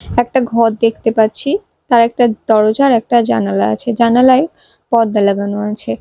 একটা ঘর দেখতে পাচ্ছি তার একটা দরজা আর একটা জানালা আছে জানালায় পর্দা লাগানো আছে।